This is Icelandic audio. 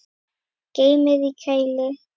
Geymið í kæli.